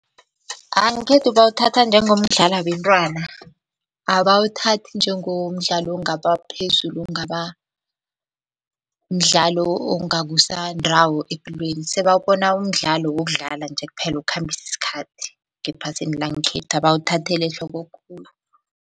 Ngekhethu bawuthatha njengomdlalo wabentwana, abawuthathi njengomdlalo ongaba phezulu ongaba mdlalo ongakusa ndawo epilweni. Sebawubona umdlalo wokudlala nje kuphela okhambisa isikhathi ngephasini langekhethu abawuthatheli ehloko khulu.